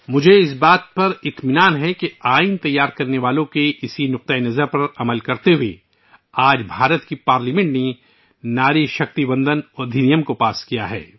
یہ میرے لیے انتہائی اطمینان کی بات ہے کہ آئین کے بنانے والوں کی دور اندیشی کی تعمیل میں، بھارت کی پارلیمنٹ نے ، اب ناری شکتی وندن ادھینیم پاس کیا ہے